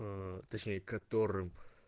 точнее которым